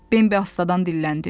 Bembi astadan dilləndi.